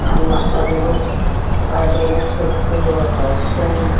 Cement garden చెట్లు ఆకాశం.